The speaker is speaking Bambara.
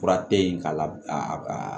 Fura te yen k'a la